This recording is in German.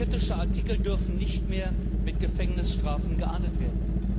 Kritische Artikel dürfen nicht mehr mit Gefängnisstrafen geahndet werden.